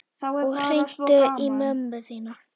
Og hringdu í mömmu þína.